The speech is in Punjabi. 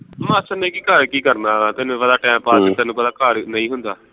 ਮਾਸੜ ਨੇ ਕੀ ਘਰ ਕੀ ਕਰਨਾ ਵਾ ਤੈਨੂੰ ਪਤਾ time pass ਤੈਨੂੰ ਪਤਾ ਘਰ ਨੀ ਹੁੰਦਾ